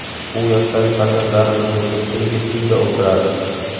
Bu yoshdagi farzandlarimizning ko‘pchiligi uyda o‘tiradi.